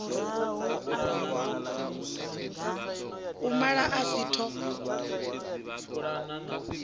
u mala a si ṱho